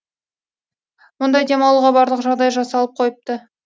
мұнда демалуға барлық жағдай жасалып қойыпты